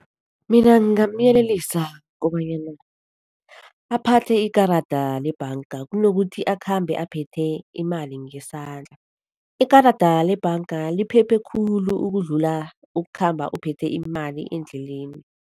Mina ngingamyelelisa kobanyana aphathe ikarada lebhanga, kunokuthi akhambe aphethe imali ngesandla. Ikarada lebhanga liphephekhulu ukudlula ukukhamba uphethe imali endleleni.